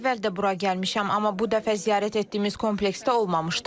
Daha əvvəl də bura gəlmişəm, amma bu dəfə ziyarət etdiyimiz kompleksdə olmamışdım.